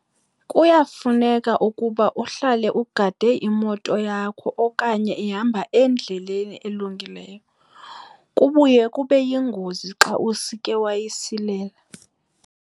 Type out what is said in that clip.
Kuyafuneka ukuba uhlale ugade imoto yakho okanye ihamba endleleni elungileyo. Kubuye kube yingozi xa usike wayisilela.